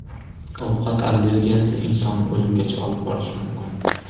Ovqat allergiyasi insonni o‘limgacha olib borishi mumkin.